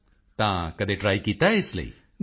ਮੋਦੀ ਜੀ ਤਾਂ ਕਦੇ ਟ੍ਰਾਈ ਕੀਤਾ ਹੈ ਇਸ ਲਈ